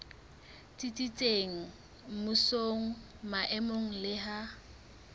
tsitsitseng mmusong maemong le ha